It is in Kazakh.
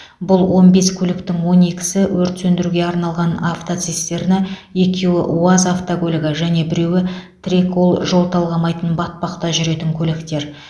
бұл он бес көліктің он екісі өрт сөндіруге арналған автоцистерна екеуі уаз автокөлігі және біреуі трэкол жол талғамайтын батпақта жүретін көліктер